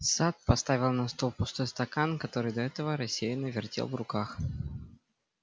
сатт поставил на стол пустой стакан который до этого рассеянно вертел в руках